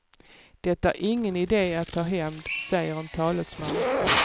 Det är ingen idé att ta hämnd, säger en talesman.